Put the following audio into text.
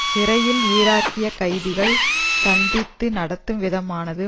சிறையில் ஈராக்கிய கைதிகள் சந்தித்த நடத்தும் விதமானது